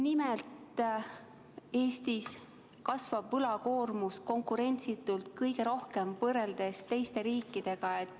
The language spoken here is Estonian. Nimelt Eestis kasvab võlakoormus võrreldes teiste riikidega konkurentsitult kõige rohkem.